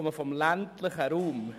Ich komme aus dem ländlichen Raum.